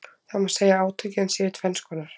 Það má segja að átökin séu tvenns konar.